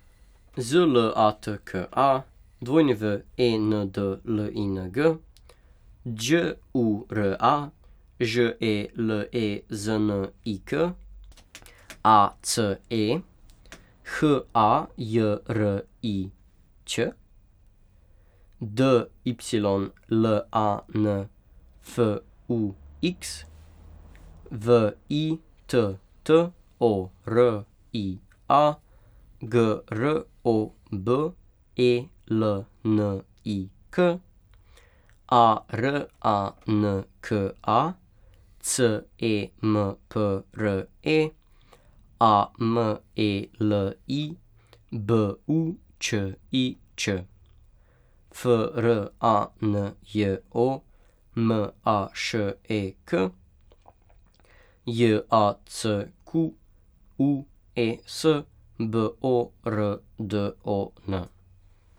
Z L A T K A, W E N D L I N G; Đ U R A, Ž E L E Z N I K; A C E, H A J R I Ć; D Y L A N, F U X; V I T T O R I A, G R O B E L N I K; A R A N K A, C E M P R E; A M E L I, B U Č I Č; F R A N J O, M A Š E K; J A C Q U E S, B O R D O N.